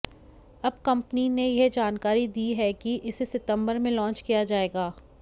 अब कंपनी ने यह जानकारी दी है कि इसे सितंबर में लॉन्च किया जाएगा